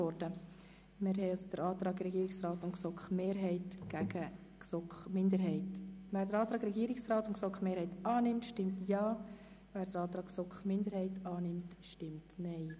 Wer den Antrag von Regierungsrat und GSoK-Mehrheit annimmt, stimmt Ja, wer den Antrag der GSoK-Minderheit annimmt, stimmt Nein.